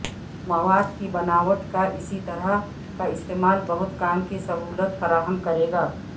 مواد کی بناوٹ کا اسی طرح کا استعمال بہت کام کی سہولت فراہم کرے گا